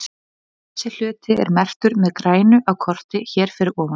Þessi hluti er merktur með grænu á kortinu hér fyrir ofan.